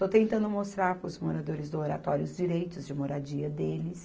Estou tentando mostrar para os moradores do Oratório os direitos de moradia deles.